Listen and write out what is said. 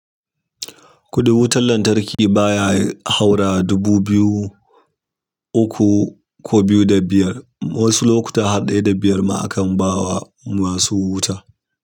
Kuɗin wutar lantarki baya haura dubu biyu uku ko biyu da biyar. Wasu lokuta har ɗaya da biyar ma akan ba wa masu wuta.